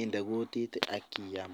inde kutit Akiyam